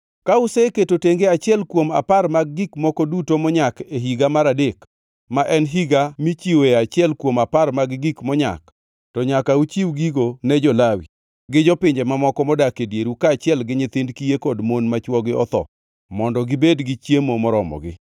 Ka useketo tenge achiel kuom apar mag gik moko duto monyak e higa mar adek, ma en higa michiwoe achiel kuom apar mag gik monyak, to nyaka uchiw gigo ne jo-Lawi, gi jopinje mamoko modak e dieru kaachiel gi nyithind kiye kod mon ma chwogi otho mondo gibed gi chiemo moromogi.